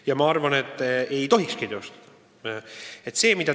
Ja ma arvan, et ei tohikski teostada.